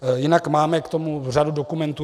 Jinak máme k tomu řadu dokumentů.